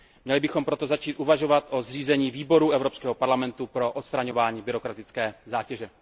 Měli bychom proto začít uvažovat o zřízení výboru Evropského parlamentu pro odstraňovaní byrokratické zátěže.